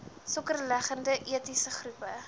sokkerlegendes etniese groepe